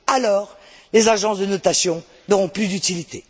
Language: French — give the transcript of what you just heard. Alors, les agences de notation n'auront plus d'utilité.